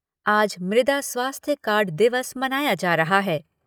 आज मृदा स्वास्थ्य कार्ड दिवस मनाया जा रहा है।